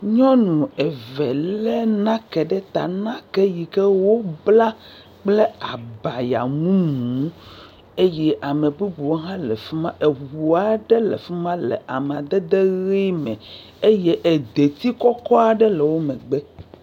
Nyɔnu eve le nake ɖe ta. Nake yike wobla kple abaya mumu eye ame bubuwo hã le afi ma. Eŋu aɖe le afi ma le amadede ʋi me eye edit kɔkɔ aɖe le wo megbe.